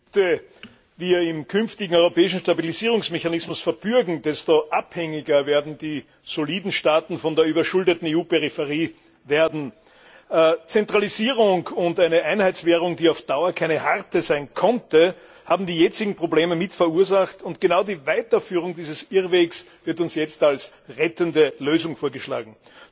Herr Präsident! Je mehr wir im künftigen europäischen Stabilisierungsmechanismus verbürgen, desto abhängiger werden die soliden Staaten von der überschuldeten EU Peripherie. Zentralisierung und eine Einheitswährung, die auf Dauer keine harte sein konnte, haben die jetzigen Probleme mit verursacht, und genau die Weiterführung dieses Irrwegs wird uns jetzt als rettende Lösung vorgeschlagen.